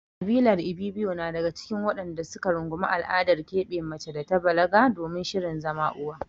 Ƙabilar Ibibiyo na cikin waɗanda su ka rungumi al'adar keɓe mace da ta balaga domin shirin zama uwa.